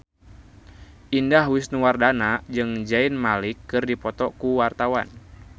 Indah Wisnuwardana jeung Zayn Malik keur dipoto ku wartawan